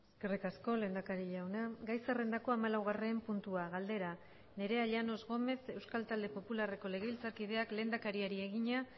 eskerrik asko lehendakari jauna gai zerrendako hamalaugarren puntua galdera nerea llanos gómez euskal talde popularreko legebiltzarkideak lehendakariari egina